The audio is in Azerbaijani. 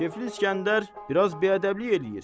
Kefli İsgəndər biraz biədəblik eləyir.